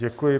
Děkuji.